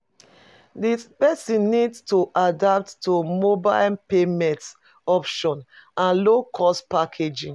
Di person need to adapt to mobile payment option and low cost packaging